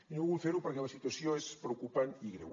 i no vull fer ho perquè la situació és preocupant i greu